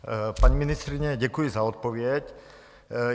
Paní ministryně, děkuji za odpověď.